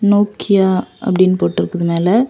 Nokia அப்டின்னு போட்டிருக்குது மேல.